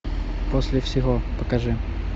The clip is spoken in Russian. после всего покажи